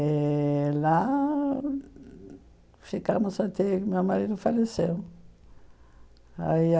Eh lá ficamos até que meu marido faleceu. Aí